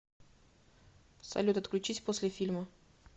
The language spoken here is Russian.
салют отключись после фильма